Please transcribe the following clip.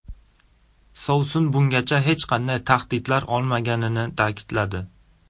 Sovsun bungacha hech qanday tahdidlar olmaganini ta’kidladi.